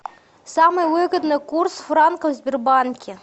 самый выгодный курс франка в сбербанке